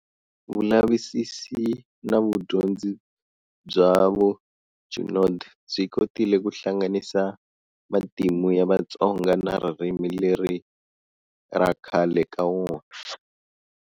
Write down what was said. Vulavisisi na vudyondzi bya vo Junod byi kotile ku hlanganisa matimu ya Vatsonga na ririmi leri ra khale ka vona.